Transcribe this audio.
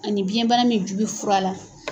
Ani biyɛnbana min ju bi fura la.